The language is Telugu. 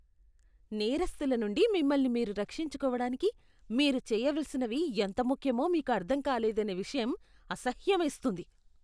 నేరస్థుల నుండి మిమ్మల్ని మీరు రక్షించుకోవడానికి మీరు చెయ్యవలసినవి ఎంత ముఖ్యమో మీకు అర్థం కాలేదనే విషయం అసహ్యమేస్తుంది.